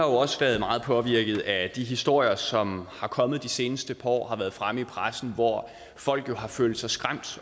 også været meget påvirkede af de historier som er kommet de seneste par år og som har været fremme i pressen hvor folk har følt sig skræmt